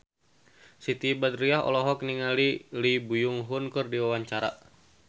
Siti Badriah olohok ningali Lee Byung Hun keur diwawancara